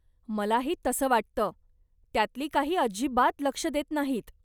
मलाही तसं वाटतं, त्यातली काही अजिबात लक्ष देत नाहीत.